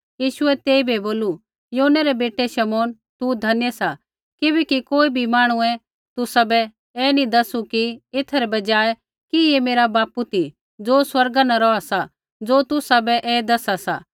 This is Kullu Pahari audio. यीशुऐ तेइबै बोलू योनै रै बेटै शमौन तू धन्य सा किबैकि कोई भी मांहणुऐ तुसाबै ऐ नी दसु एथा रै बजाय कि ऐ मेरा बापू ती ज़ो स्वर्गा न रौहा सा ज़ो तुसाबै ऐ दसा सा